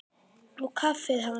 Og kaffið hans?